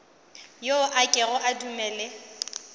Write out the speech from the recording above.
yo a kego a dumele